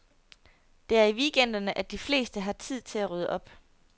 Det er i weekenderne, at de fleste har tid til at rydde op.